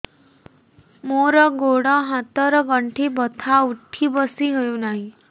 ମୋର ଗୋଡ଼ ହାତ ର ଗଣ୍ଠି ବଥା ଉଠି ବସି ହେଉନାହିଁ